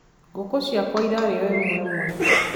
Ngũkũ ciakwa irarĩo ĩmwe ĩmwe